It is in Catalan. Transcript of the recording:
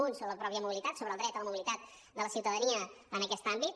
una sobre la mateixa mobilitat sobre el dret a la mobilitat de la ciutadania en aquest àmbit